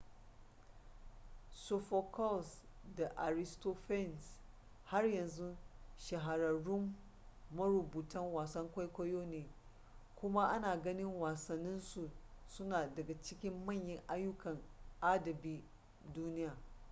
sophocles da aristophanes har yanzu shahararrun marubutan wasan kwaikwayo ne kuma ana ganin wasannin su suna daga cikin manyan ayyukan adabin duniya